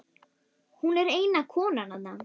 Hún er eina konan þarna.